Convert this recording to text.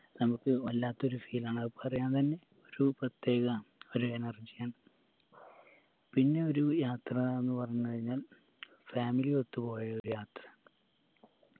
നമുക്ക് വല്ലാത്തൊരു feel ആണ് അത് പറയാൻ തന്നെ ഒരു പ്രത്യേക ഒരു energy ആണ് പിന്നൊരു യാത്രാന്ന് പറഞ്ഞ് കഴിഞ്ഞാൽ family ഒത്തു പോയൊരു യാത്രയാണ്